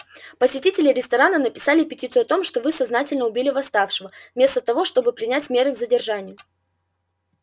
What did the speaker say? посетители ресторана написали петицию о том что вы сознательно убили восставшего вместо того чтобы принять меры к задержанию